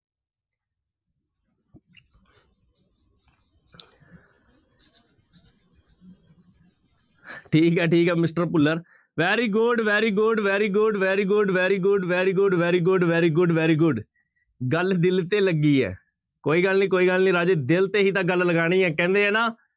ਠੀਕ ਹੈ ਠੀਕ ਹੈ mister Bhullar very good, very good, very good, very good, very good, very good, very good, very good, very good ਗੱਲ ਦਿੱਲ ਤੇ ਲੱਗੀ ਹੈ ਕੋਈ ਗੱਲ ਨੀ ਕੋਈ ਗੱਲ ਨੀ ਰਾਜੇ ਦਿਲ ਤੇ ਹੀ ਤਾਂ ਗੱਲ ਲਗਾਉਣੀ ਹੈ ਕਹਿੰਦੇ ਹੈ ਨਾ